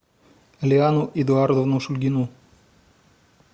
лиану эдуардовну шульгину